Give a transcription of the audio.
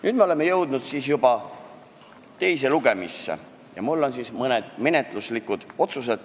Nüüd oleme jõudnud juba teisele lugemisele ja mul on ette lugeda mõned menetluslikud otsused.